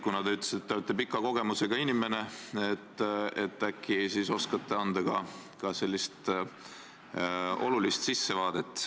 Kuna te ütlesite, et te olete pika elukogemusega inimene, siis äkki oskate anda ka sellise sissevaate.